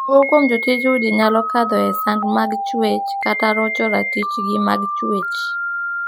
Moko kuom jotij udi nyalo kadho e sand mag chuech kata rocho ratichji mag chuech.